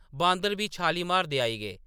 बांदर बी छालीं मारदे आई गे।